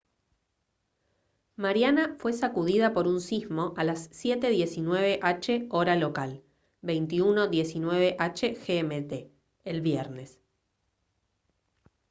mariana fue sacudida por un sismo a las 7:19 h hora local 21:19 h gmt el viernes